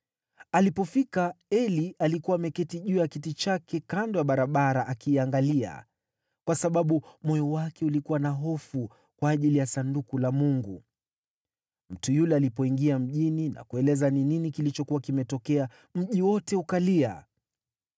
Alipofika, Eli alikuwa ameketi juu ya kiti chake kando ya barabara akiangalia, kwa sababu moyo wake ulikuwa na hofu kwa ajili ya Sanduku la Mungu. Mtu yule alipoingia mjini na kueleza kilichokuwa kimetokea, mji wote ukalia.